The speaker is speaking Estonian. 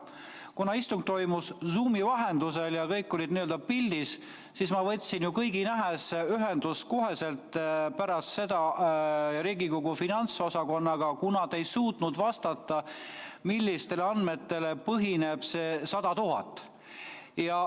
Kuna istung toimus Zoomi vahendusel ja kõik olid n-ö pildis, siis ma võtsin ju kohe pärast seda kõigi nähes ühenduse Riigikogu finantsosakonnaga, kuna te ei suutnud vastata, millistel andmetel põhineb see 100 000.